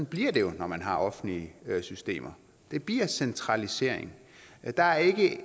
bliver det jo når man har offentlige systemer det bliver centralisering der er ikke